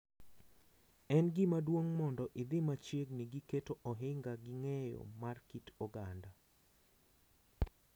En gima duong’ mondo idhi machiegni gi keto ohinga gi ng’eyo mar kit oganda,